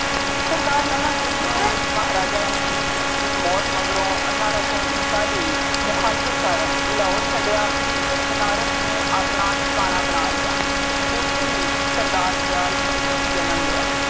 ਸਰਦਾਰ ਲਹਿਣਾ ਸਿੰਘ ਨੇ ਮਹਾਰਾਜਾ ਰਣਜੀਤ ਸਿੰਘ ਦੀ ਮੌਤ ਮਗਰੋਂ ਅਠਾਰਾਂ ਸੌ ਉਨਤਾਲੀ ਵਿੱਚ ਮੁਹਾਫਲਤ ਕਰਨ ਲਾਹੌਰ ਛੱਡਿਆ, ਫਿਰ ਬਨਾਰਸ ਨੂੰ ਆਪਣਾ ਠਿਕਾਣਾ ਬਣਾ ਲਿਆ, ਉੱਥੇ ਹੀ ਸਰਦਾਰ ਦਿਆਲ ਸਿੰਘ ਨੇ ਜਨਮ ਲਿਆ।